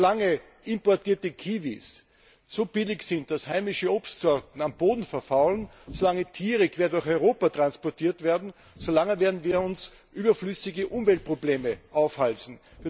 Solange importierte Kiwis so billig sind, dass heimische Obstsorten am Boden verfaulen, solange Tiere quer durch Europa transportiert werden, so lange werden wir uns überflüssige Umweltprobleme aufhalsen.